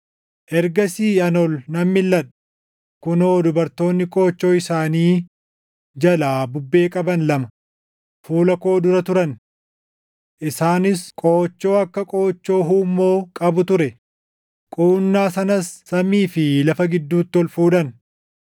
Ergasii ani ol nan milʼadhe; kunoo dubartoonni qoochoo isaanii jalaa bubbee qaban lama fuula koo dura turan! Isaanis qoochoo akka qoochoo huummoo qabu ture; quunnaa sanas samii fi lafa gidduutti ol fuudhan.